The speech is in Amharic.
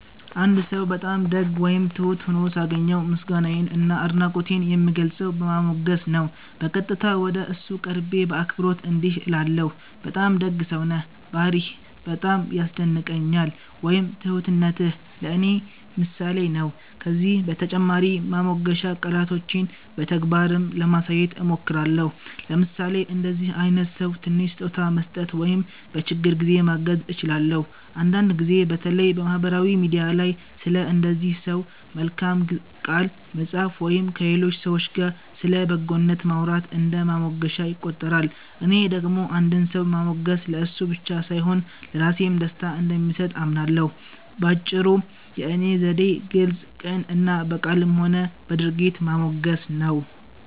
አንድ ሰው በጣም ደግ ወይም ትሁት ሆኖ ሳገኘው፣ ምስጋናዬን እና አድናቆቴን የምገልጸው በማሞገስ ነው። በቀጥታ ወደ እሱ ቀርቤ በአክብሮት እንዲህ እላለሁ፦ “በጣም ደግ ሰው ነህ፣ ባህርይህ በጣም ያስደንቀኛል” ወይም “ትሁትነትህ ለእኔ ምሳሌ ነው”። ከዚህ በተጨማሪ ማሞገሻ ቃላቶቼን በተግባርም ለማሳየት እሞክራለሁ፤ ለምሳሌ ለእንደዚህ አይነት ሰው ትንሽ ስጦታ መስጠት ወይም በችግር ጊዜ ማገዝ እችላለሁ። አንዳንድ ጊዜ በተለይ በማህበራዊ ሚዲያ ላይ ስለ እንደዚህ ሰው በመልካም ቃል መጻፍ ወይም ከሌሎች ሰዎች ጋር ስለ በጎነቱ ማውራት እንደ ማሞገሻ ይቆጠራል። እኔ ደግሞ አንድን ሰው ማሞገስ ለእሱ ብቻ ሳይሆን ለራሴም ደስታ እንደሚሰጥ አምናለሁ። በአጭሩ፣ የእኔ ዘዴ ግልጽ፣ ቅን እና በቃልም ሆነ በድርጊት ማሞገስ ነው።